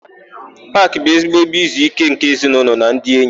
Paakị bụ ezigbo ebe izuíké nke ezinaụlọ na ndị enyi.